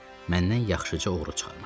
Məndən yaxşıca uğru çıxarmış.